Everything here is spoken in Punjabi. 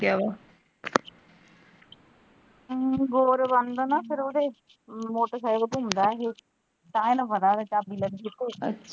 ਹਮ ਫਿਰ ਇਹ ਮੋਟਰਸਾਈਕਲ ਤੇ ਹੁੰਦਾ ਇਹ ਤਾਂ ਹੀ ਇਹਨੂੰ ਪਤਾ ਹੈ ਚਾਬੀ .